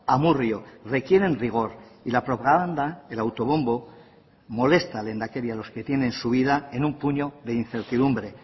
amurrio requieren rigor y la propaganda el autobombo molesta lehendakari a los que tienen su vida en un puño de incertidumbre